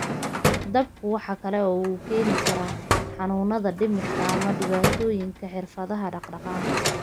DABKU waxa kale oo uu keeni karaa xanuunada dhimirka ama dhibaatooyinka xirfadaha dhaqdhaqaaqa.